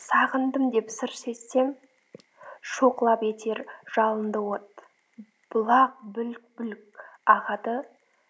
сағындым деп сыр шертсем шоқ лап етер жалынды от бұлақ бүлк бүлк ағады